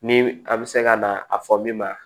Ni a bɛ se ka na a fɔ min ma